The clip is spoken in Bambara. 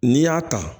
N'i y'a ta